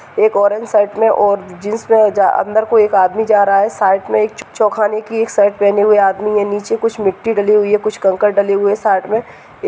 एक orange shirt में और जीन्स में जा अ अंदर कोई एक आदमी जा रहा है साइड में एक च चो खाने की शर्ट पहने हुए आदमी है नीचे कुछ मिट्टी डली हुई है कुछ कंकड़ डले हुए है साइड में। ये --